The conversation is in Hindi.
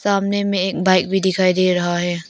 सामने में एक बाइक भी दिखाई दे रहा है।